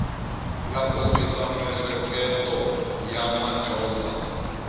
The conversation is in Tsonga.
ya kombisa miehleketo ya madyondza